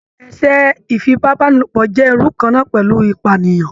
Èṣẹ̀ ìfipàbàniló jẹ́ irú kan náà pẹ̀lú ìpànìyàn